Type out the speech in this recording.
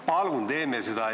Palun teeme seda!